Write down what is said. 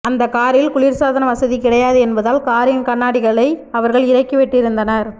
அந்த காரில் குளிர்சாதன வசதி கிடையாது என்பதால் காரின் கண்ணாடிகளை அவர்கள் இறக்கி விட்டிருந்தனர்